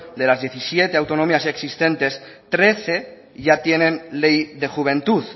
de las diecisiete autonomías existentes trece ya tienen ley de juventud